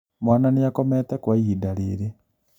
Mwana nĩakomete kwa ihinda rĩrĩ